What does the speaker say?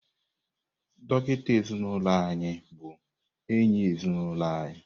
Dọkịta ezinụlọ anyị bụ enyi ezinụlọ anyị.